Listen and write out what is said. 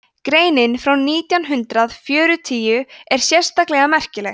greinin frá nítján hundrað fjörutíu er sérstaklega merkileg